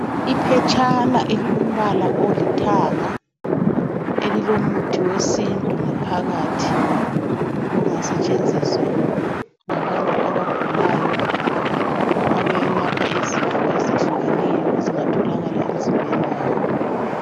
Iphetshana elilombala olithanga elilomuthi wesintu ngaphakathi ongasetshenziswa ngabantu abagulayo abayelapha izifo ezitshiyeneyo ezingatholakala emzimbeni yabo